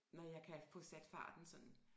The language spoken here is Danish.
Når jeg kan få sat farten sådan